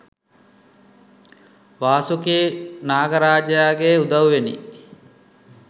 වාසුකී නාගරාජයාගේ උදව්වෙනි